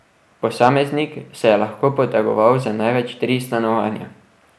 Posameznik se je lahko potegoval za največ tri stanovanja.